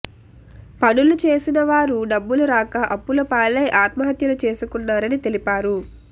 పనులు చేసిన వారు డబ్బులు రాక అప్పులపాలై ఆత్మహత్యలు చేసుకున్నారని తెలిపారు